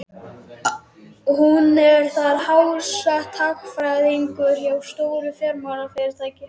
Hún er þar háttsett, hagfræðingur hjá stóru fjármálafyrirtæki.